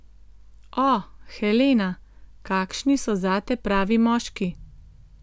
O, Helena, kakšni so zate pravi moški?